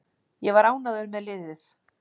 Ég var ánægður með liðið.